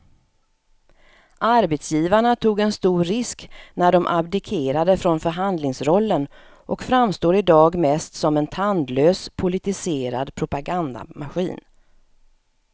Arbetsgivarna tog en stor risk när de abdikerade från förhandlingsrollen och framstår i dag mest som en tandlös politiserad propagandamaskin.